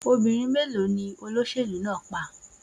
Obìnrin mélòó ni olóṣèlú náà pa?